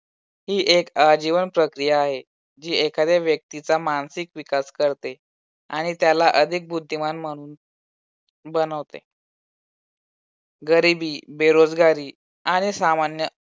एक आजीवन प्रक्रिया आहे. ही एखाद्या व्यक्तीचा मानसिक विकास करते आणि त्याला अधिक बुद्धिमान मानून बनवते. गरीबी बेरोजगारी आणि सामान्य